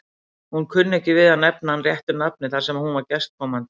Hún kunni ekki við að nefna hann réttu nafni þar sem hún var gestkomandi.